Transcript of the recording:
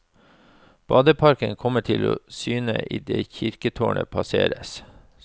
Badeparken kommer til syne i det kirketårnet passeres.